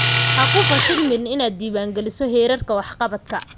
Ha ku fashilmin inaad diiwaangeliso heerarka waxqabadka